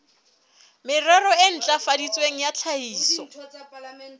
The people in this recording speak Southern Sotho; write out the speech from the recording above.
merero e ntlafaditsweng ya tlhahiso